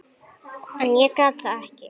En ég gat það ekki.